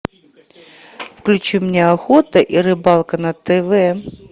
включи мне охота и рыбалка на тв